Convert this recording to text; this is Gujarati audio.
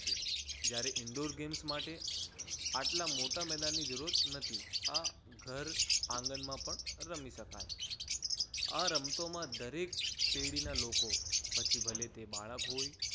જ્યારે indoor games માટે આટલા મોટા મેદાન ની જરૂરત નથી. આ ઘર આંગણમાં પણ રમી શકાય. આ રમતોમાં દરેક પેઢીના લોકો પછી ભલે તે બાળક હોય